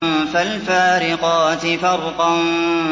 فَالْفَارِقَاتِ فَرْقًا